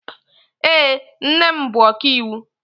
Èé, nne m bụ ọkaiwu.